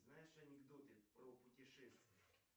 знаешь анекдоты про путешествия